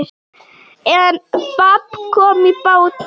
En babb kom í bátinn.